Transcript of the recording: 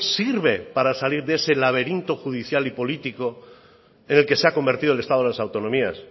sirve para salir de ese laberinto judicial y político en el que se ha convertido el estado de las autonomías